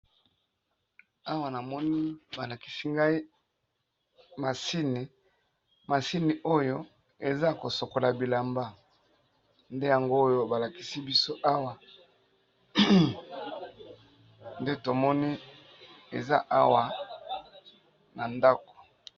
Awa namoni balakisi biso machine namoni machine oyo eza ya kosokola babilamba